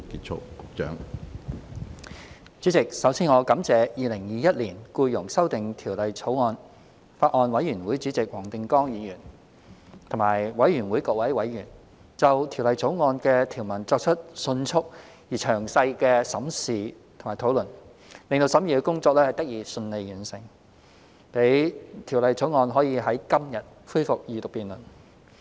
主席，首先，我感謝《2021年僱傭條例草案》委員會主席黃定光議員和各位委員，就《2021年僱傭條例草案》的條文作出迅速而詳細的審視和討論，令審議工作得以順利完成，讓《條例草案》可以在今天恢復二讀辯論。